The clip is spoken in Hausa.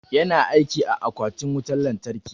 Yana aiki a akwatin wutan lantarki.